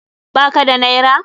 Ba ka da naira?